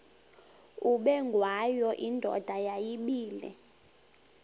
ubengwayo indoda yayibile